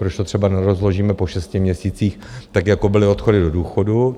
Proč to třeba nerozložíme po šesti měsících, tak jako byly odchody do důchodu?